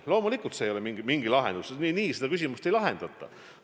Loomulikult see ei ole mingi lahendus, nii seda küsimust ei lahendata.